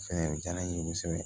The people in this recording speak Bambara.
Fɛn diyara n ye kosɛbɛ